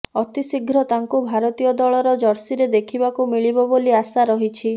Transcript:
ଅତିଶୀଘ୍ର ତାଙ୍କୁ ଭାରତୀୟ ଦଳର ଜର୍ସିରେ ଦେଖିବାକୁ ମିଳିବ ବୋଲି ଆଶା ରହିଛି